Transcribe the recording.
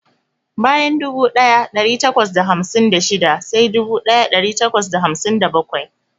Bayan dubu daya dari takwas da hamsin da shida sai dubu daya dari takwas da hamsin da bakwai.